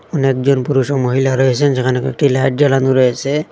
অনেকজন পুরুষ ও মহিলা রয়েছেন যেখানে কয়েকটি লাইট জ্বালানো রয়েছে।